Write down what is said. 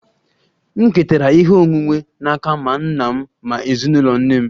M ketara ihe onwunwe n'aka ma nna m ma ezinụlọ nne m